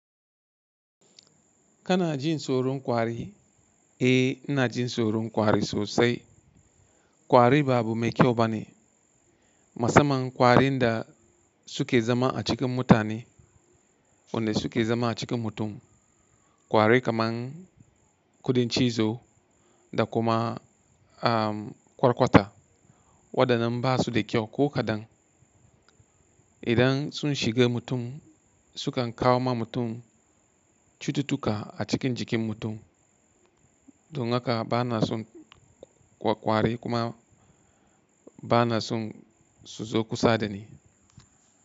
Kana jin tsoron kwari? Eh, ina jin tsoron kwari sosai. Kwari ba abu mai kyau bane. Musamman kwarin da suke zama a cikin mutane, wanda suke zama a cikin mutum. Kwari kamar kudin cizo da kuma kwarkwata waɗannan ba su da kyau ko kaɗan. Idan sun shiga mutum sukan kawo ma mutum cututtuka a cikin jikin mutum. Don haka bana son kwari kuma bana son su zo kusa da ni.